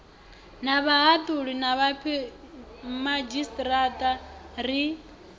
na vhahaṱuli na vhomadzhisiṱiraṱa ri